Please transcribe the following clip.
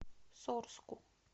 сорску